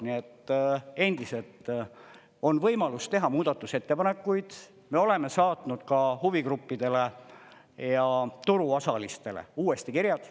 Nii et endiselt on võimalus teha muudatusettepanekuid, me oleme saatnud ka huvigruppidele ja turuosalistele uuesti kirjad.